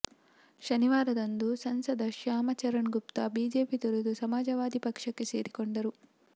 ಶನಿವಾರದಂದು ಸಂಸದ ಶ್ಯಾಮ ಚರಣ್ ಗುಪ್ತಾ ಬಿಜೆಪಿ ತೊರೆದು ಸಮಾಜವಾದಿ ಪಕ್ಷಕ್ಕೆ ಸೇರಿಕೊಂಡರು